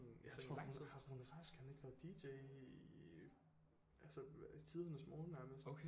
Jeg har bare altid haft Rune Rask har han ikke været DJ i altså tidernes morgen nærmest